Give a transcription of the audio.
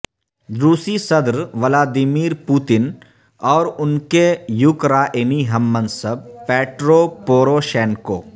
روسی صدر Vladimir Putin اور ان کے یوکرائنی ہم منصب پیٹرو پوروشینکو